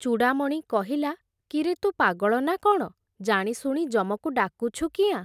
ଚୂଡ଼ାମଣି କହିଲା, କିରେ ତୁ ପାଗଳ ନା କ’ଣ, ଜାଣିଶୁଣି ଯମକୁ ଡାକୁଛୁ କିଆଁ ।